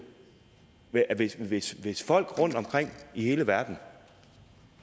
hvis hvis folk rundtomkring i hele verden